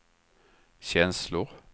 känslor